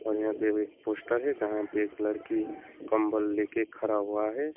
और यहां पे भी एक पोस्टर है जहां पे एक लड़की कंबल लेके खड़ा हुआ है।